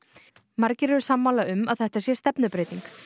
margir eru sammála um að þetta sé stefnubreyting